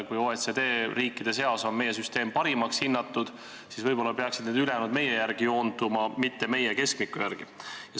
Kui OECD riikide seas on meie süsteem parimaks hinnatud, siis võib-olla peaksid ülejäänud meie järgi joonduma, mitte meie ei peaks keskmise järgi joonduma.